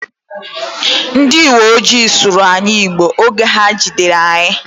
Ndi iwoojii sụrụ anyi Igbo oge ha jidere anyị